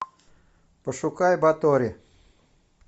пошукай батори